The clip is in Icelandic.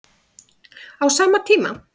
Á sama tíma